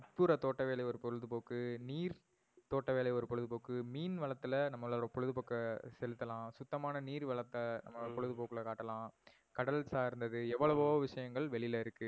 உட்புற தோட்ட வேலை ஒரு பொழுதுபோக்கு. நீர் தோட்ட வேலை ஒரு பொழுதுபோக்கு. மீன் வளதுல நம்பளோட பொழுதுபோக்க செலுத்தலாம். சுத்தமான நீர் வளத்த நம்பளோட ஹம் பொழுதுபோக்குல காட்டலாம். கடல் சார்ந்தது எவ்வளவோ ஹம் விஷயங்கள் வெளில இருக்கு.